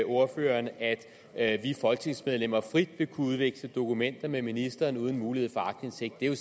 ordføreren at at vi folketingsmedlemmer frit vil kunne udveksle dokumenter med ministeren uden mulighed for aktindsigt det er jo